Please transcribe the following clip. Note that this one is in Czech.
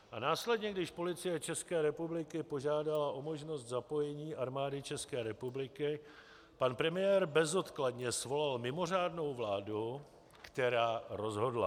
A následně, když Policie České republiky požádala o možnost zapojení Armády České republiky, pan premiér bezodkladně svolal mimořádnou vládu, která rozhodla.